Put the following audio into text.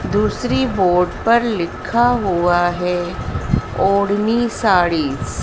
दूसरी बोर्ड पर लिखा हुआ है ओढ़नी साड़ीस ।